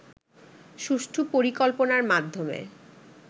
সুষ্ঠু পরিকল্পনার মাধ্যমে